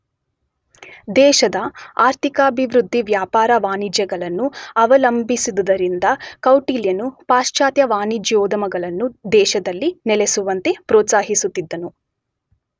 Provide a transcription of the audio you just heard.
ದೇಶದ ಆರ್ಥಿಕಾಭಿವೃದ್ಧಿ ವ್ಯಾಪಾರ ವಾಣಿಜ್ಯಗಳನ್ನು ಅವಲಂಬಿಸಿದ್ದುದರಿಂದ ಕೌಟಿಲ್ಯನು ಪಾಶ್ಚಾತ್ಯ ವಾಣಿಜ್ಯೋದ್ಯಮಗಳನ್ನು ದೇಶದಲ್ಲಿ ನೆಲೆಸುವಂತೆ ಪ್ರೋತ್ಸಾಹಿಸುತ್ತಿದ್ದನು.